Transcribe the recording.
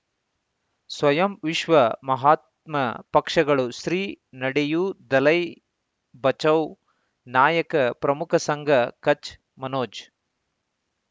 ಸ್ವಯಂ ವಿಶ್ವ ಮಹಾತ್ಮ ಪಕ್ಷಗಳು ಶ್ರೀ ನಡೆಯೂ ದಲೈ ಬಚೌ ನಾಯಕ ಪ್ರಮುಖ ಸಂಘ ಕಚ್ ಮನೋಜ್